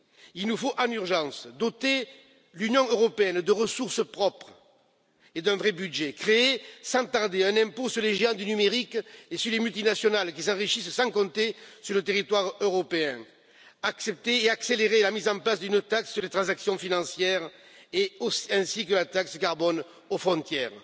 Il nous faut d'urgence doter l'Union européenne de ressources propres et d'un vrai budget, créer sans tarder un impôt sur les géants du numérique et sur les multinationales qui s'enrichissent sans compter sur nos territoires européens, accepter et accélérer la mise en place d'une taxe sur les transactions financières, ainsi que de la taxe carbone aux frontières.